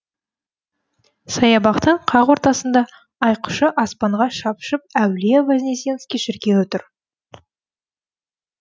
саябақтың қақ ортасында айқышы аспанға шапшып әулие вознесенский шіркеуі тұр